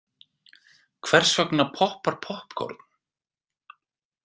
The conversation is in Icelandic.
Hvers vegna poppar poppkorn?.